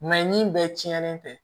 ni bɛɛ tiɲɛnen tɛ